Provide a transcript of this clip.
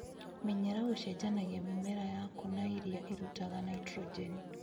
Menyera gũchenjanagia mimera yaku na ĩrĩa ĩrutaga naitrojeni.